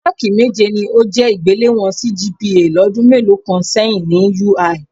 Máákì méje ni ó jẹ́ ìgbéléwọ̀n CGPA lọ́dún mélòó kan sẹ́yìn ni UI